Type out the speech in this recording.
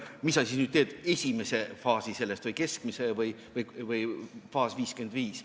Mille sa siis nüüd valid, esimese faasi sellest või keskmise või faasi nr 55?